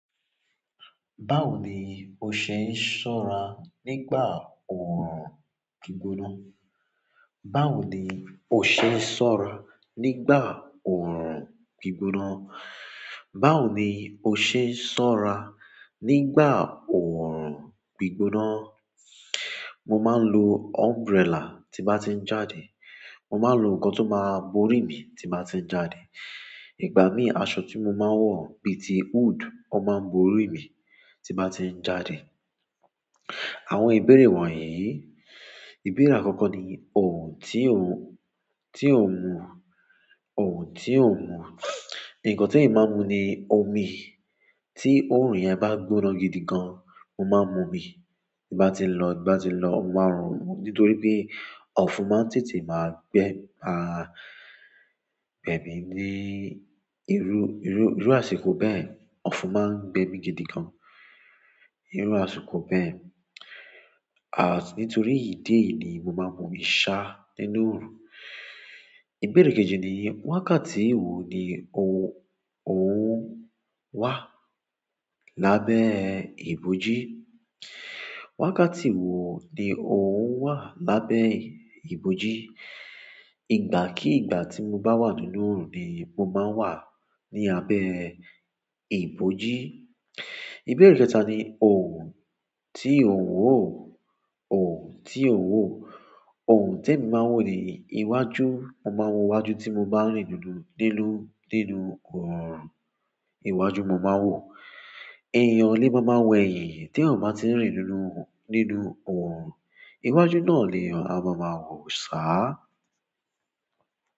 Báwo ni o ṣe ń ṣọ́rà nígbà òòrùn gbígbóná? Báwo ni o ṣe ń ṣọ́ra nígbà òòrùn gbígbóná? Báwo ni o ṣe ń ṣọ́ra nígbà òòrùn gbígbóná? Mò máa ń lò umbrella tí bá ti ń jáde. Mo máa ń lo nǹkan tó máa ń borí mi tí bá ti ń jádè. Ìgbà mí, àṣọ tí mò máa ń wọ̀ bí i ti hood, ó máa ń borí mi tí bá ti ń jáde. Àwọn ìbéèrè wọ̀nyí, ìbéèrè àkọ́kọ́ ni òun tí ò ń, tí ò ń mù? Òun tí ò ń mu? Ǹkan tí èmi máa ń mù ni omi. Tí òòrùn yẹn bá gbóná gidi gan, mo máa ń mu omi. Tí bá ti ń lọ, tí bá ti ń lọ, mo máa ń ronú nítorí pé ọ̀fùn máa ń tètè máa gbé, pa, gbẹ̀mi ní irú, irú, irú àsìkò bẹ́ẹ̀. Ọfùn màà ń gbẹmì gìdìgàn nì ìrù àsìkò bẹ́ẹ̀ à nítorí ìdì èyìí ni mo máa ń mu òmi ṣá nínú òòrùn. Ìbéèrè kejì ni wákàtí wò ni ò, òun wà lábẹ́ ibojí? Wákàtí wo ni òun wà lábẹ́ ibojí? Ìgbà kí ìgbà tí mo bá wà nínú òòrùn ni mo máa ń wà ní àbẹ́ ibojí. Ìbéèrè kẹta ni òùn tí ò ń wò? Òun tí ò ń wò? Òun tí èmi máa ń wò ni iwájú. Mo máa ń wò iwájú tí mo bá rìn nínú, nínú, nínú òòrùn. Iwájú mò máa ń wò. Ẹ̀yán le máa máa wọ ẹ̀yìn tí èyàn bá ti ń rìn nínú, nínú òòrùn. Iwájú náà lèyàn à máa màà wọ̀ sá.